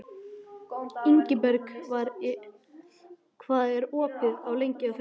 Ingberg, hvað er opið lengi á föstudaginn?